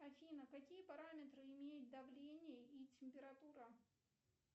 афина какие параметры имеет давление и температура